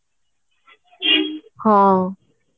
ହଁ